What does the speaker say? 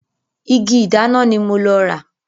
Igi ìdáná ni mo lọ rà.